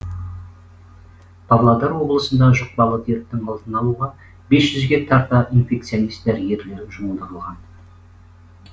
павлодар облысында жұқпалы дерттің алдын алуға бес жүзге тарта инфекционист дәрігер жұмылдырылған